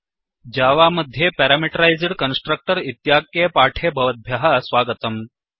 Java मध्ये parameterised constructor इत्याख्ये पाठेऽस्मिन् भवद्भ्यः स्वागतम्